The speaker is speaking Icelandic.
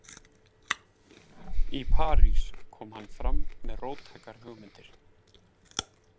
Í París kom hann fram með róttækar hugmyndir.